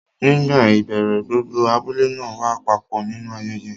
Nígbà ìbẹ̀rẹ̀, gbogbo abúlé náà wá papọ̀ nínú ayẹyẹ.